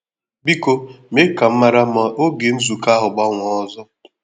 Biko mee ka m mara ma ògè nzukọ ahụ́ gbanwee ọzọ